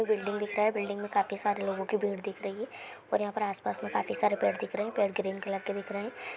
Building दिख रहा है। बिल्डिंग में काफी सारे लोगो की भीड़ दिख रही है। और यहाँ पे आसपास काफी सारे पेड़ दिख रहे हैं। पेड़ ग्रीन कलर का दिखा रहे हैं।